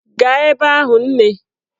Gaa ebe ahụ nne!